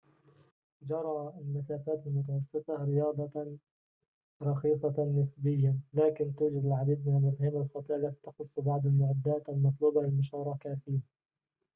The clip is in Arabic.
جري المسافات المتوسطة رياضة رخيصة نسبيًا لكن توجد العديد من المفاهيم الخاطئة التي تخص بعض المعدات المطلوبة للمشاركة فيه